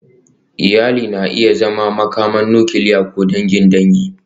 Iyali na iya zama makaman nukiliya ko dangin dangi.